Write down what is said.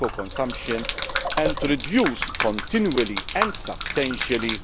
of tobacco consumption and to reduce continually and substantially